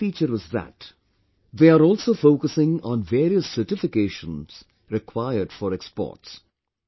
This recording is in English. The second feature is that they are also focusing on various certifications required for exports